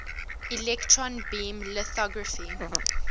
electron beam lithography